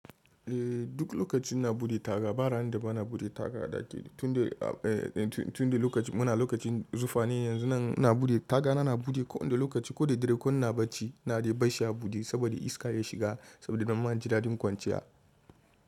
Duk lokaci na buɗe taga ba ranar da ba na buɗe taga ɗaki tun da lokaci muna lokacin zufa ne. Yanzu nan na buɗe tagana, na buɗe kowane lokaci ko da dare, ko na bacci na dai bashi a buɗe saboda iska ya shiga saboda na yi mana gidajen kwanciya.